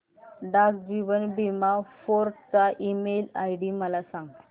डाक जीवन बीमा फोर्ट चा ईमेल आयडी मला सांग